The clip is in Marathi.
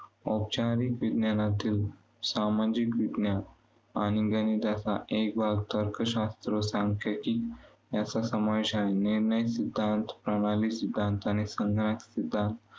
औपचारिक विज्ञानातील सामाजिक विज्ञान आणि गणिताचा एक भाग तर्कशास्त्र व सांख्यिकी याचा समावेश आहे. निर्णय सिद्धान्त, प्रणाली सिद्धान्त आणि संगणक सिद्धान्त